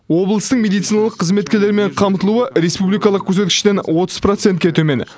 облыстың медициналық қызметкерлермен қамтылуы республикалық көрсеткіштен отыз процентке төмен